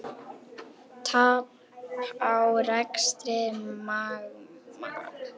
Hefur verið rætt að þú verðir lánaður eitthvað út næsta tímabil?